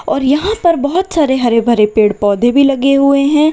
और यहां पर बहुत सारे हरे भरे पेड़ पौधे भी लगे हुए हैं।